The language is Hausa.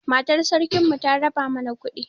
Matar sarkin mu ta raba mana kuɗi